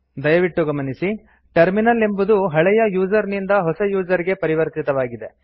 ದಯವಿಟ್ಟು ಗಮನಿಸಿ ಟರ್ಮಿನಲ್ ಎಂಬುದು ಹಳೆಯ ಯೂಸರ್ ನಿಂದ ಹೊಸ ಯೂಸರ್ ಗೆ ಪರಿವರ್ತಿತವಾಗಿದೆ